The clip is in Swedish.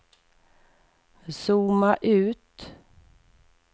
zooma ut